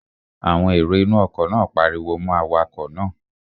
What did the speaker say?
Àwọn èrò inú ọkọ̀ náà pariwo mọ́ awakọ̀ náà